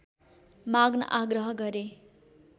माग्न आग्रह गरे